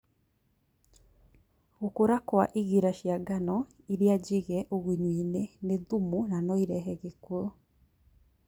gũkũra Kwa igira cia ngano iria njiige ũgunyu-inĩ nĩ thimũ na noirehe gĩkuo